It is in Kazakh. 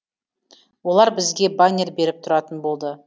олар бізге баннер беріп тұратын болды